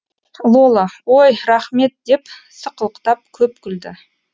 лола ой рахмет деп сықылықтап көп күлді